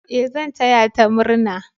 E, zan taya ta murna.